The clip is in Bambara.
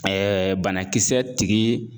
banakisɛ tigii